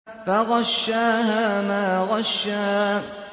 فَغَشَّاهَا مَا غَشَّىٰ